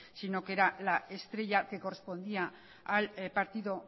sino que era la estrella que correspondía al partido